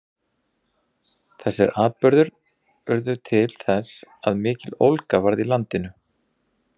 þessir atburðir urðu til þess að mikill ólga varð í landinu